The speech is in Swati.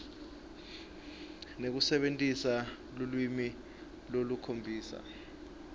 nekusebentisa lulwimi lolukhombisa